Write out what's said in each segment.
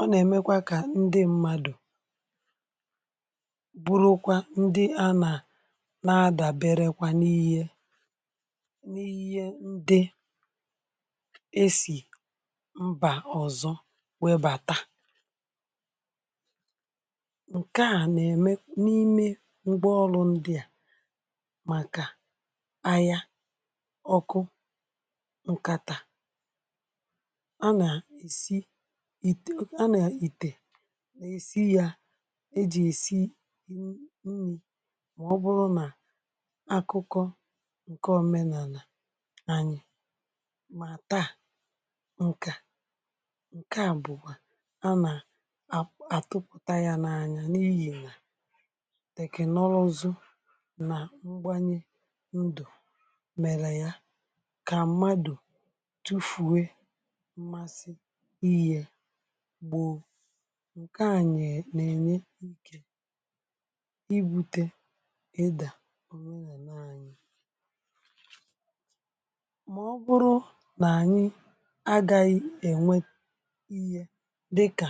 ọ nà-èmekwa kà ndị mmadù bụrụkwa ndị ana nà-adàberekwa n’ihẹ, n’ihẹ ndị e sì mbà ọzọ webàta. ǹkẹ̀ a nà-eme n’ime ngwaọrụ ndị a màkà ahịa, ọkụ, ǹkàtà, a nà-esi à i tinyè a nà-ènyerè èsi yȧ e jì èsi akụkọ ǹkè omenàlà anyị. Mà taa ǹkè a ǹkè a bụ̀kwà a nà atụpụ̀ta ya n’anya n’ihì nà, tèkè nọrọ̇ ọ̀zọ̀ nà ngwanye ndù mèlè ya kà mmadù tufùwe mmasì ihė bụ̀ ǹkè a nèle ikè ịbụte eda bụrụ ya na anyị̇. màọbụrụ nà anyị agȧghị ènwe iyė dịkà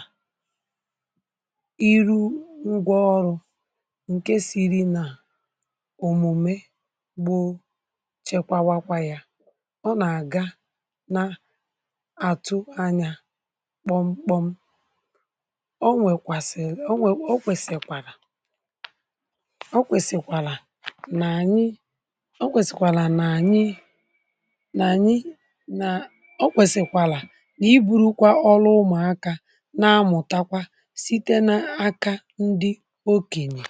iru ngwa ọrụ̇ ǹke siiri nà òmùme gbụ̇ chekwawakwa ya ọ nà àga na àtụ anyȧ kpọm kpọm. ọ nwèkwàsị̀l ọ wèsị̀kwàrà nọ kwèsị̀kwàlà nà ànyị nà ọ kwèsị̀kwàlà nà ànyị nà ọ kwèsị̀kwàlà nà i buru kwa ọrụ ụmụ̀aka nà-amụ̀takwa site n’aka ndị okenyè.